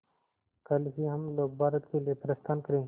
कल ही हम लोग भारत के लिए प्रस्थान करें